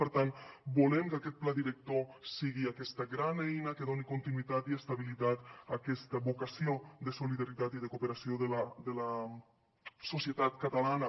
per tant volem que aquest pla director sigui aquesta gran eina que doni continuïtat i estabilitat a aquesta vocació de solidaritat i de cooperació de la societat catalana